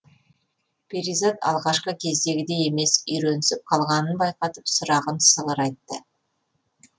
перизат алғашқы кездегідей емес үйренісіп қалғанын байқатып сұрағын сығырайтты